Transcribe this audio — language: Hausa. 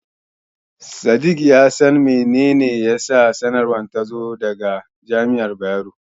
Sadik ya san mene ne yasa sanarwar ta zo daga Jami'ar Bayero.